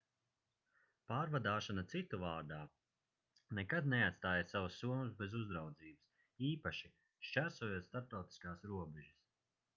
pārvadāšana citu vārdā nekad neatstājiet savas somas bez uzraudzības īpaši šķērsojot starptautiskās robežas